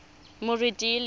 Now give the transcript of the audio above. moretele